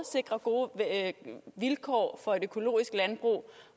sikrer gode vilkår for et økologisk landbrug